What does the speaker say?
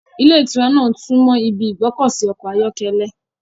Ìlé ìtura náà súnmọ́ ibi ìgbọ́kọ̀sí ọkọ̀ ayọ́kẹ́lẹ́